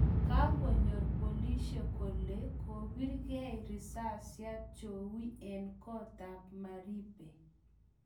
Kagonyoor polisiek kole kobirgei risasyaat jowie eng' koot ap maribe